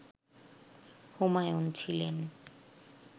হুমায়ুন ছিলেন